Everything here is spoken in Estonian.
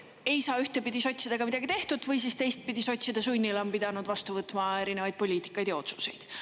Ei saa ühtpidi sotsidega midagi tehtud või siis teistpidi, sotside sunnil on pidanud vastu võtma erinevaid poliitikaid ja otsuseid.